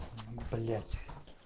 блять